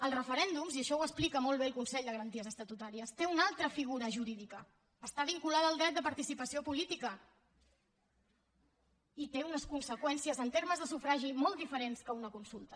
els referèndums i això ho explica molt bé el consell de garanties estatutàries tenen una altra figura jurídica que està vinculada al dret de participació política i que té unes conseqüències en termes de sufragi molt diferents que una consulta